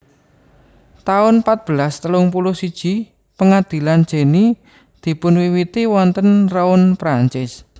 taun patbelas telung puluh siji Pangadilan Jenny dipunwiwiti wonten Rouen Prancis